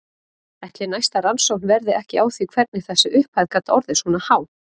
Ætli næsta rannsókn verði ekki á því hvernig þessi upphæð gat orðið svona há?